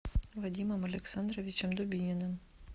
вадимом александровичем дубининым